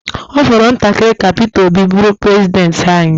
Ọ fọrọ ntakịrị ka Peter Obi bụrụ prezidenti anyị.